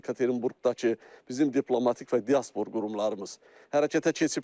Yekaterinburqdakı bizim diplomatik və diaspor qurumlarımız hərəkətə keçiblər.